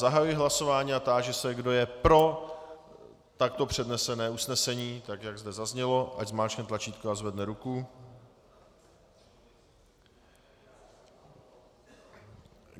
Zahajuji hlasování a táži se, kdo je pro takto přednesené usnesení, tak jak zde zaznělo, ať zmáčkne tlačítko a zvedne ruku.